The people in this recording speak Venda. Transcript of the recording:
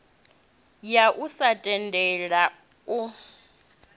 ya u sa tendela u